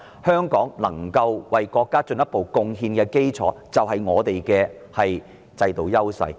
香港能夠為國家進一步作出貢獻的基礎，就是我們的制度優勢。